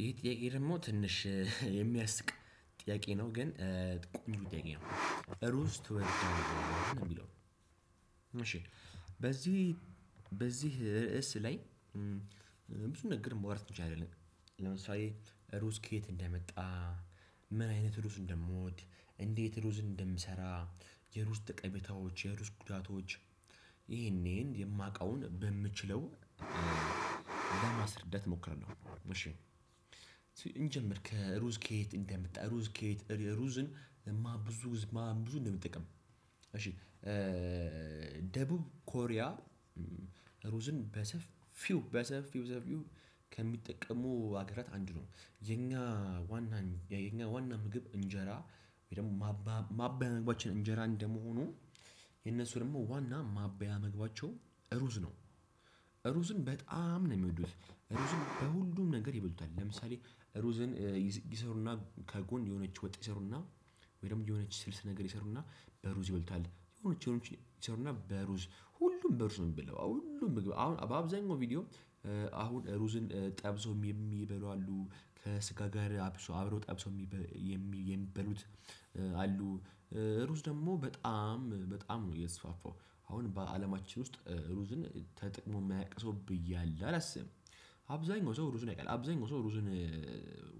ይሄ ጥያቄ ደግሞ ትንሽ የሚያስቅ ጥያቄ ነው። ግን ቆንጆ ጥያቄ ነው ሩዝ ትወዳለህ የሚል ነው እሺ በዚህ በዚህ ርዕስ ላይ ብዙ ነገር ማውራት እንችላለን። ለምሳሌ:- ሩዝ ከየት እንደመጣ ምን አይነት ሩዝ እንደምወድ እንዴት ሩዝ እንደምሰራ የሩዝ ጠቀሜታዎች የሩዝ ጉዳቶች- ይሄንን ይሄን የማውቀውን በምችለው ለማስረዳት እሞክራለሁ። እሺ እንጀምር ከሩዝ ከየት እንደመጣ ሩዝ ከየት ሩዝን ብዙ ብዙ እንደምጠቅም እሺ- ደቡብ ኮሪያ ሩዝን በሰፊው በሰፊው ሰፊው ከሚጠቀሙ ሀገራት አንድ ነው። የኛ ዋና የኛ ዋና ምግብ እንጀራ ወይ ደግሞ ማባያ ምግባችን እንጀራ እንደመሆኑ- የነሱ ደግሞ ዋና ማባያ ምግባቸው ሩዝ ነው። ሩዝን በጣም ነው የሚወዱት። ሩዝን በሁሉም ነገር ይበሉታል። ለምሳሌ ሩዝን ይሰሩና ከጎን የሆነች ወጥ ይሰሩና ወይም የሆነች ስልስ ነገር ይሰሩና በሩዝ ይበሉታል። የሆነች ነገር ይሰሩና በሩዝ ሁሉም በሩዝ ነው የሚበለው። ሁሉም አሁን በአብዛኛው ቪዲዮ- አሁን ሩዝን ጠብሶም የሚበሉ አሉ ከስጋ ጋር አብሶ አብሮ ጠብሶ የሚበሉት አሉ። ሩዝ ደግሞ በጣም በጣም ነው የሰፋፈው። አሁን በአለማችን ውስጥ ሩዝን ተጠቅሞ የሚያውቅ ሰው አለ ብዬ አላስብም። አብዛኛው ሰው ሩዝን ያቃል አብዛኛው ሰው ሩዝን-